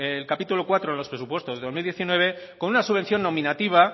el capítulo cuarto de los presupuestos del dos mil diecinueve con una subvención nominativa